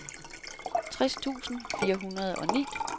tres tusind fire hundrede og ni